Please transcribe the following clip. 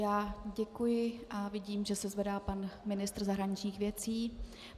Já děkuji a vidím, že se zvedá pan ministr zahraničních věcí.